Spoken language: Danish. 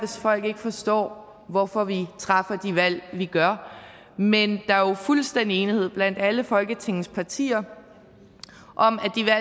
folk ikke forstår hvorfor vi træffer de valg vi gør men der er jo fuldstændig enighed blandt alle folketingets partier om